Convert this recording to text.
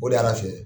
O de y'an fiyɛ